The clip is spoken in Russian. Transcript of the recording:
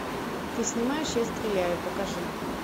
ты снимаешь я стреляю покажи